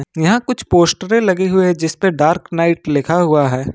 यहां कुछ पोस्टरे लगे हुए है जिसपे डार्क नाइट लिखा हुआ है।